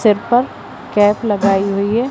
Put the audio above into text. Sample cap लगाई हुई है।